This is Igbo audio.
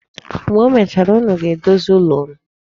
Mgbe emechara, unu ga-edozi ụlọ unu.